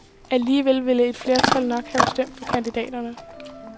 Alligevel ville et flertal nok have stemt for kandidaterne.